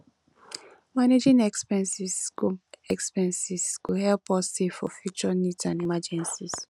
managing expenses go expenses go help us save for future needs and emergencies